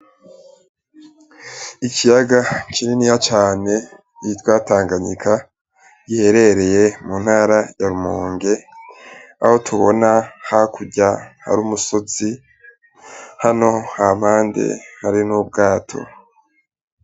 Ikiyaga kininiya cane citwa Tanganyika giherereye mu ntara ya Rumonge, aho tubona hakurya hari umusozi, hano hampande hari n'ubwato.